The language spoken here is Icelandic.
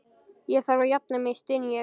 Ég þarf að jafna mig, styn ég.